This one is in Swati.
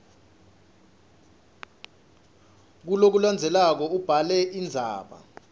kulokulandzelako ubhale indzaba